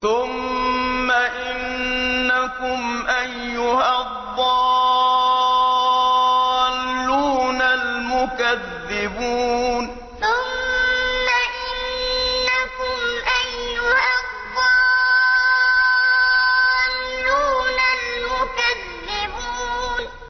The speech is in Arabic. ثُمَّ إِنَّكُمْ أَيُّهَا الضَّالُّونَ الْمُكَذِّبُونَ ثُمَّ إِنَّكُمْ أَيُّهَا الضَّالُّونَ الْمُكَذِّبُونَ